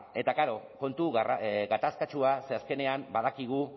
eta klaro kontu gatazkatsua zeren azkenean badakigu